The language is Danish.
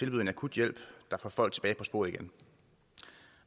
en akut hjælp der får folk tilbage på sporet igen